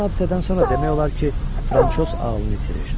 Həmin hadisədən sonra demək olar ki, Fransoz ağlını itirir.